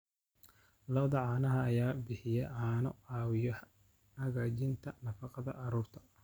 Lo'da caanaha ayaa bixiya caano caawiya hagaajinta nafaqada carruurta.